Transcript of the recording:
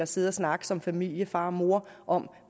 sidde og snakke som familie far og mor om